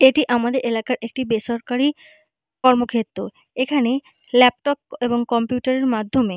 এটি আমাদের এলাকার একটি বেসরকারি কর্মক্ষেত্র। এখানে ল্যাপটপ এবং কম্পিউটার এর মাধ্যমে--